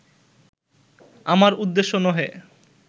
আমার উদ্দেশ্য নহে